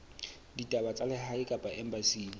ditaba tsa lehae kapa embasing